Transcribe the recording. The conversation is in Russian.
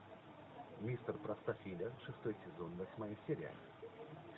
мистер простофиля шестой сезон восьмая серия